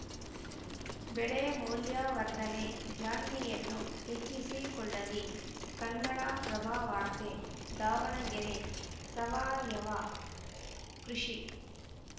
ಬೆಳೆ ಮೌಲ್ಯವರ್ಧನೆ ಜಾಣ್ಮೆಯನ್ನೂ ಹೆಚ್ಚಿಸಿ ಕೊಳ್ಳಲಿ ಕನ್ನಡಪ್ರಭವಾರ್ತೆ ದಾವಣಗೆರೆ ಸಾವಯವ ಕೃಷಿ